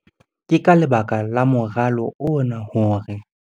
Ke ka lebaka la moralo ona hore.